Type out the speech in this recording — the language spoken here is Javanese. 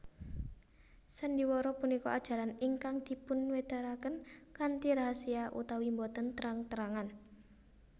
Sandiwara punika ajaran ingkang dipunwedharaken kanthi rahasia utawi boten terang terangan